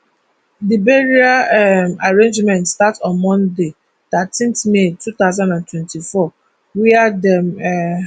di burial um arrangement start on monday thirteen may two thousand and twenty-four wia dem um